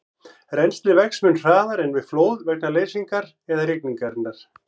Rennslið vex mun hraðar en við flóð vegna leysingar eða rigningar.